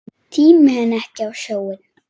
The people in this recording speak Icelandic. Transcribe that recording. Tími henni ekki á sjóinn!